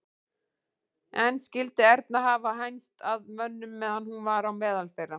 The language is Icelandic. En skyldi Erna hafa hænst að mönnum meðan hún var á meðal þeirra?